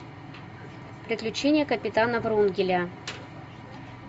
приключения капитана врунгеля